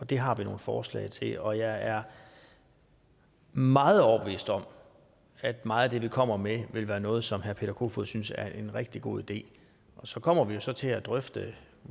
det har vi nogle forslag til og jeg er meget overbevist om at meget af det vi kommer med vil være noget som herre peter kofod poulsen synes er en rigtig god idé så kommer vi til til at drøfte